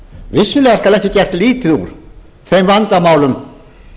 vissulega skal ekki gert lítið úr þeim vandamálum